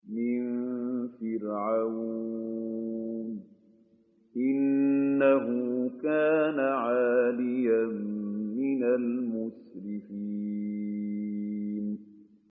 مِن فِرْعَوْنَ ۚ إِنَّهُ كَانَ عَالِيًا مِّنَ الْمُسْرِفِينَ